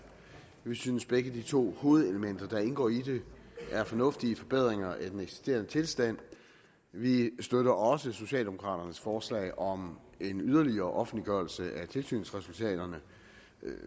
vi synes at begge de to hovedelementer der indgår i det er fornuftige forbedringer af den eksisterende tilstand vi støtter også socialdemokraternes forslag om en yderligere offentliggørelse af tilsynsresultaterne